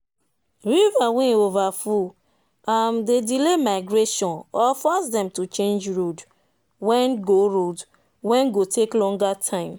river wen over full um dey delay migration or force them to change road wen go road wen go take longer time